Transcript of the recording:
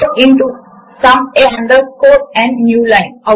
ఇప్పుడు మనము writer window లో మూడు ఏరియా లను చూడవచ్చు